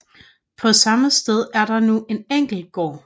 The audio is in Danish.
På samme sted er der nu en enkel gård